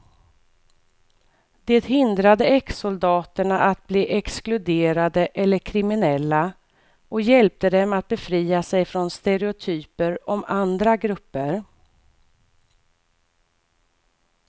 Det hindrade exsoldaterna att bli exkluderade eller kriminella och hjälpte dem att befria sig från stereotyper om andra grupper.